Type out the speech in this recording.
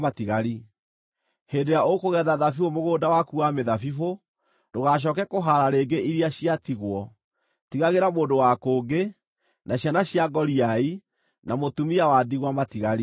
Hĩndĩ ĩrĩa ũkũgetha thabibũ mũgũnda waku wa mĩthabibũ, ndũgacooke kũhaara rĩngĩ iria ciatigwo. Tigagĩra mũndũ wa kũngĩ, na ciana cia ngoriai, na mũtumia wa ndigwa matigari.